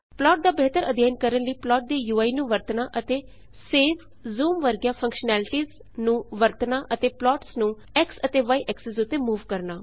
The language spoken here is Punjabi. ਪਲਾਟ ਦਾ ਬੇਹਤਰ ਅਧਿਅਨ ਕਰਨ ਲਈ ਪਲਾਟ ਦੀ ਯੂਆਈ ਨੂੰ ਵਰਤਣਾ ਅਤੇ ਸੇਵ ਜੂਮ ਵਰਗੀਆਂ ਫੰਕਸ਼ਨੈਲਿਟੀਸ ਨੂੰ ਵਰਤਣਾ ਅਤੇ ਪਲਾਟਸ ਨੂੰ x ਅਤੇ y ਐਕਸਿਸ ਉੱਤੇ ਮੂਵ ਕਰਨਾ